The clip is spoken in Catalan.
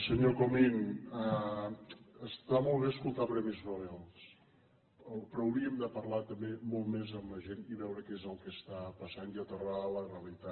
senyor comín està molt bé escoltar premis nobel però hauríem de parlar també molt més amb la gent i veure què és el que està passant i aterrar a la realitat